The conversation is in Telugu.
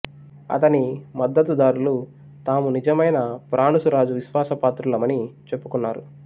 అతని మద్దత్తుదారులు తాము నిజమైన ఫ్రానుసు రాజు విశ్వాస పాత్రులమని చెప్పుకున్నారు